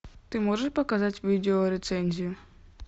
ты можешь показать видеорецензию